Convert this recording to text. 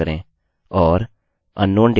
यह सही कार्य कर रहा है